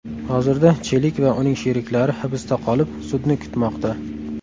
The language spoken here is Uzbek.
Hozirda Chelik va uning sheriklari hibsda qolib, sudni kutmoqda.